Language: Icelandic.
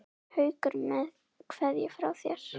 Haukur með kveðju frá þér.